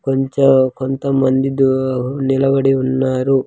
కొంచెం కొంతమంది దో నిలబడి ఉన్నారు.